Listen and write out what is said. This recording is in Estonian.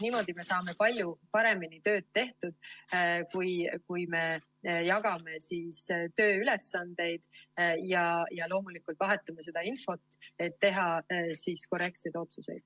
Niimoodi me saame palju paremini töö tehtud, kui me jagame tööülesandeid ja vahetame infot, et teha korrektseid otsuseid.